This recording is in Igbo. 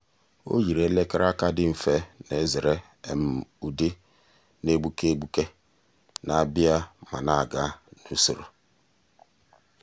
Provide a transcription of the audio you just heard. ọ́ yììrì èlèkére aka dị mfe nà-èzèrè um ụ́dị́ nà-égbùké égbùké nà-àbị̀à um ma nà-ágá n’usoro.